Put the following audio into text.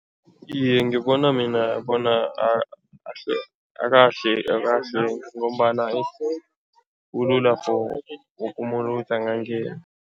Iye, ngibona mina bona akahlwengi ngombana kulula for woke umuntu ukuthi angangena.